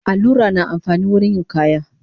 Allura na amfani wurin yin kaya